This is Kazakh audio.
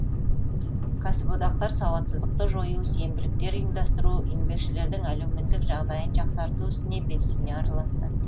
кәсіподақтар сауатсыздықты жою сенбіліктер ұйымдастыру еңбекшілердің әлеуметтік жағдайын жақсарту ісіне белсене араласты